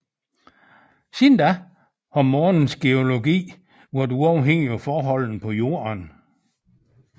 Siden da har Månens geologi være uafhængig af forholdene på Jorden